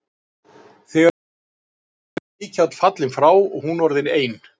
Þegar ég kynntist henni, var Mikjáll fallinn frá og hún orðin ein.